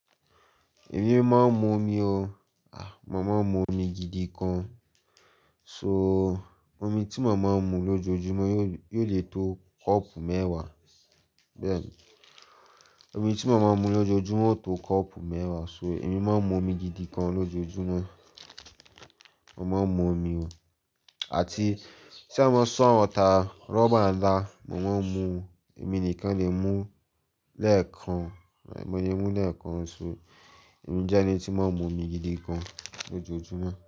Èmi máa ń mu omi o. Mo máa ń mu omi gidi gan. So omi tí mo màá ń mu lójoojúmọ́ ò lè tó kọ́ọ̀pù mẹ́wàá. Bẹ́ẹ̀ ni, omi tí mo màá ń mu lójoojúmọ́ ó tó kọ́ọ̀pù mẹ́wàá, so èmi máa ń mu omi gidi gan lójoojúmọ́. Mo máa ń mu omi o. Àti sa bá sán ta rọ́bà ńlá, mo màá ń mu, èmi nìkan lè mú lẹ́ẹ̀kan, mo lè mú lẹ́ẹ̀kan ṣoṣo. Mo jẹ́ ẹni tí máa ń mu omi gidi gan lójoojúmọ́.